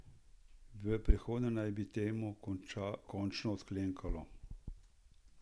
V prihodnje naj bi temu končno odklenkalo.